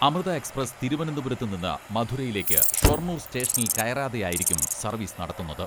Amrita express തിരുവനന്തപുരത്ത് നിന്ന് മധുരയിലേക്ക് ഷൊർണൂർ സ്റ്റേഷനിൽ കയറാതെയായിരിക്കും സർവീസ് നടത്തുന്നത്.